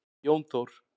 Jón Þór.